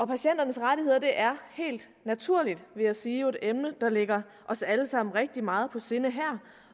patienternes rettigheder er helt naturligt vil jeg sige jo et emne der ligger os alle sammen rigtig meget på sinde her